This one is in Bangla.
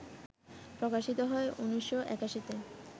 প্রকাশিত হয় ১৯৮১তে